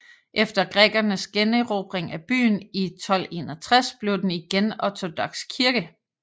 Efter grækernes generobring af byen i 1261 blev den igen ortodoks kirke